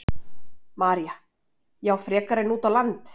María: Já, frekar en út á land?